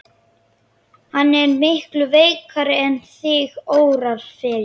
Hann er miklu veikari en þig órar fyrir.